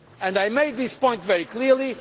I made this point very clearly.